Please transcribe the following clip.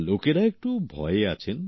আর লোকেরা একটু ভয়ে আছেন